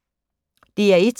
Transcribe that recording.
DR1